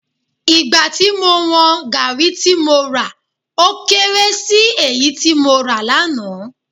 Ìgbà tí mo wọn Gaàrí tí mo rà ó kééré èyí tí mo rà lánàá